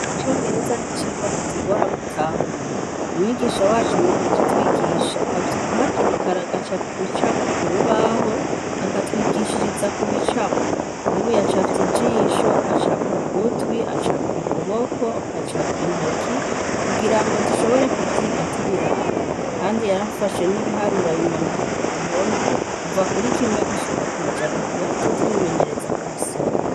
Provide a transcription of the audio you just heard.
Icongereza n'icigwa kitugora gutahura, umwigisha wacu mu kukitwigisha avyuka hakiri kare agacapa ibicapo ku rubaho akatwigishiriza ku bicapo, nk'ubu yacafye ijisho, acapa ugutwi, acapa ukuboko, acapa intoki, kugira ngo dushobore kuvyiga tubiraba, kandi yarafashe n'ibiharura abimanika ku gihome kuva kuri kimwe gushika kw'ijana kugira tuje turimenyereza kubisoma.